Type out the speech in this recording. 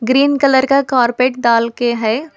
Green colour का carpet डाल के है।